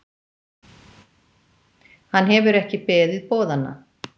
Hann hefur ekki beðið boðanna.